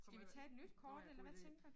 Kommer her nåh ja god ide